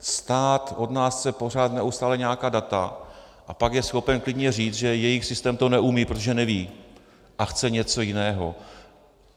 Stát od nás chce pořád, neustále, nějaká data, a pak je schopen klidně říct, že jejich systém to neumí, protože neví a chce něco jiného.